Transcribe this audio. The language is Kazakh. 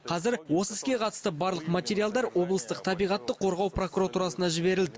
қазір осы іске қатысты барлық материалдар облыстық табиғатты қорғау прокуратурасына жіберілді